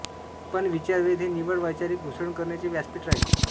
पण विचारवेध हे निव्वळ वैचारिक घुसळण करण्याचे व्यासपीठ राहील